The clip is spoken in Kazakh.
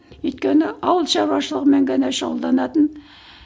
өйткені ауыл шаруашылығымен ғана шұғылданатын